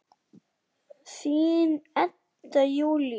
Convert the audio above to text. Þín, Edda Júlía.